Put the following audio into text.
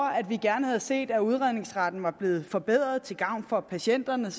at vi gerne havde set at udredningsretten var blevet forbedret til gavn for patienterne